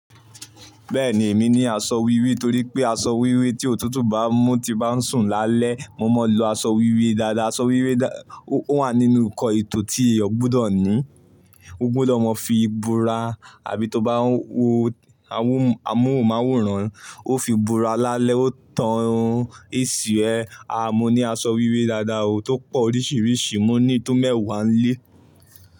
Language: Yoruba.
Bẹ́ẹ̀ni èmi ní aṣọ wíwé torí pé aṣọ wíwé tí òtútù bá mú ti máa ń sùn lálẹ́. Mo máa ń lo aṣọ wíwé dáadáa. Aṣọ wíwé ó wà nínú ǹkan ètò tí èèyàn gbọdọ̀ ní. Ó gbọdọ̀ máa fi bora àbí tó bá ń wo amóhùnmáwòrán, ó fi ora lálẹ́ ó tàn AC ẹ. A mo ní aṣọ wíwé dáadáa o tó pọ̀ oríṣiríṣi. Mo ní tó mẹ́wàá nlé.